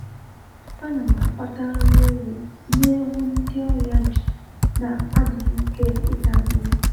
A na m akpata nri ewu nye ewu ndi ọrịa ji na adịghị ike ịta nri